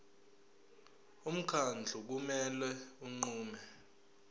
umkhandlu kumele unqume